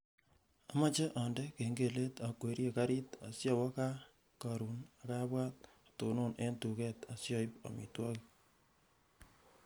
Amache andene kengelet akwerie karit asiawo gaa karon akabwar atono eng duket asioip amitwogik